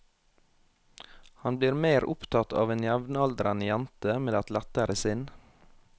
Han blir mer opptatt av en jevnaldrende jente med et lettere sinn.